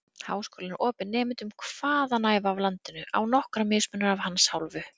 Háskólinn er opinn nemendum hvaðanæva af landinu, án nokkurrar mismununar af hans hálfu.